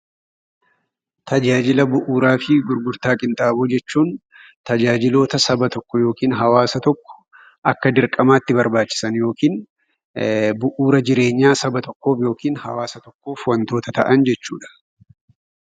Meeshaalee mana keessaa jechuun meeshaalee nuti mana keessatti hawaasa tokko Akka dirqamaatti barbaachisaan yookiin bu'uura jireenya Saba tokkoof yookiin hawaasa tokkoof kan ta'an jechuudha.